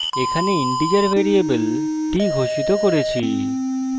এখানে integer variable t ঘোষিত করেছি